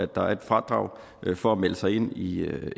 der er et fradrag for at melde sig ind i i